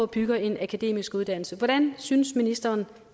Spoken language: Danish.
bygge en akademisk uddannelse hvordan synes ministeren